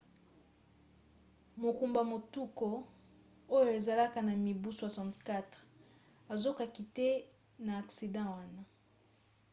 mokumbi motuka oyo azalaki na mibu 64 azokaki te na aksida wana